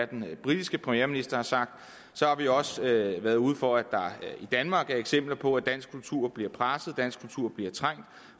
den britiske premierminister har sagt så har vi også været været ude for at der i danmark er eksempler på at dansk kultur bliver presset at dansk kultur bliver trængt